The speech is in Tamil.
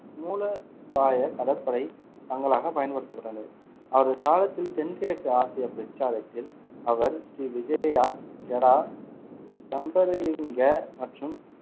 மூலபாய கடற்படை தளங்களாக பயன்படுத்தப்பட்டன. அவரது காலத்தில் தென்கிழக்கு ஆசிய பிரச்சாரத்தில், அவர் ஸ்ரீவிஜயா, கெடா, தம்பரலிங்க மற்றும்